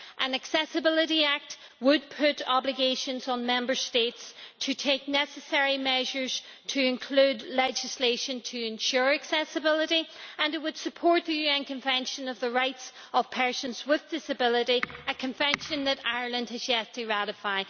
An Accessibility Act would put obligations on Member States to take the necessary measures to include legislation to ensure accessibility, and it would support the UN Convention of the rights of persons with a disability a Convention that Ireland has yet to ratify.